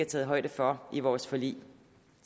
taget højde for i vores forlig